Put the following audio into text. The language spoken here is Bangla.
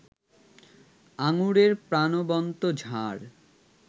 আঙুরের প্রাণবন্ত ঝাড়